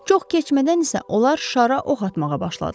Çox keçmədən isə onlar şara ox atmağa başladılar.